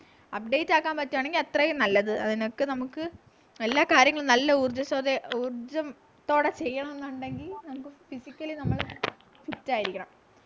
update ആക്കാൻ പറ്റുവാണെങ്കി അത്രയും നല്ലത് അതിനൊക്കെ നമുക്ക് എല്ലാ കാര്യങ്ങളും നല്ല ഊർജ്ജസ്വതയോ ഊർജ്ജ ത്തോടെ ചെയ്യണം എന്നുണ്ടെങ്കി നമുക്ക് physically നമ്മൾ fit യിരിക്കണം